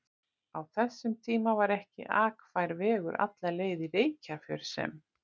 Á þessum tíma var ekki akfær vegur alla leið í Reykjarfjörð sem